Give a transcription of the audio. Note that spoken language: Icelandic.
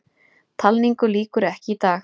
Talningu lýkur ekki í dag